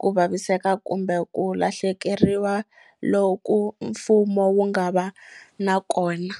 ku vaviseka kumbe ku lahlekeriwa loku mfumo wu nga va na kona.